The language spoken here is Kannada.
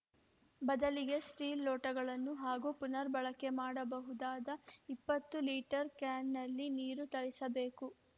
ಬದಲಿಗೆ ಸ್ಟೀಲ್‌ ಲೋಟಗಳನ್ನು ಹಾಗೂ ಪುನರ್‌ಬಳಕೆ ಮಾಡಬಹುದಾದ ಇಪ್ಪತ್ತು ಲೀಟರ್‌ ಕ್ಯಾನ್‌ನಲ್ಲಿ ನೀರು ತರಿಸಬೇಕು